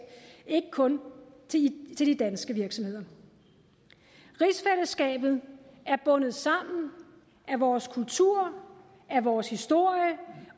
ikke kun til de danske virksomheder rigsfællesskabet er bundet sammen af vores kultur af vores historie